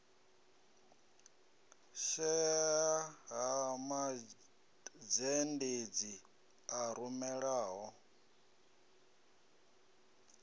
shaea ha mazhendedzi a rumelaho